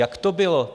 Jak to bylo?